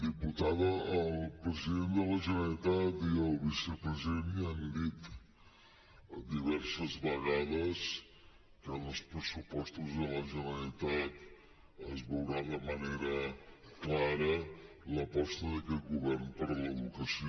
diputada el president de la generalitat i el vicepresident ja han dit diverses vegades que en els pressupostos de la generalitat es veurà de manera clara l’aposta d’aquest govern per l’educació